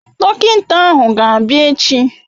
Dọkịnta ahụ ga-abịa echi.